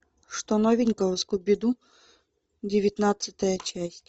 что новенького скуби ду девятнадцатая часть